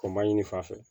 O ma ɲini fan fɛ